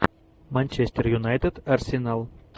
манчестер юнайтед арсенал